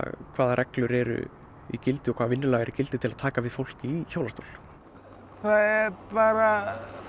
hvaða reglur eru í gildi og hvaða vinnulag er í gildi til að taka við fólki í hjólastól það er bara